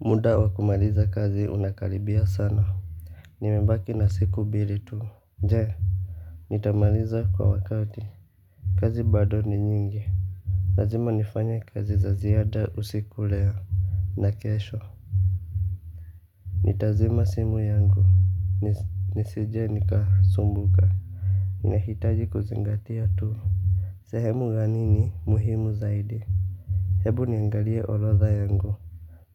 Muda wa kumaliza kazi unakaribia sana. Nimebaki na siku mbili tu. Je nitamaliza kwa wakati. Kazi bado ni nyingi lazima nifanye kazi za ziada usiku leo. Na kesho nitazima simu yangu nisije nikasumbuka nahitaji kuzingatia tu. Sehemu gani ni muhimu zaidi. Hebu niangalie orodha yangu.